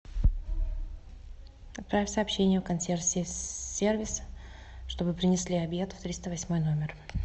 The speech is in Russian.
отправь сообщение в консьерж сервис чтобы принесли обед в триста восьмой номер